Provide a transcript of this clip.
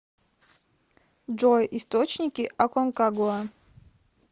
джой источники аконкагуа